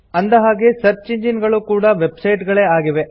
ಅಂದ ಹಾಗೆ search engines ಗಳೂ ಕೂಡಾ ವೆಬ್ಸೈಟ್ ಗಳೇ ಆಗಿವೆ